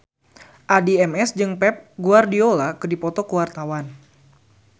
Addie MS jeung Pep Guardiola keur dipoto ku wartawan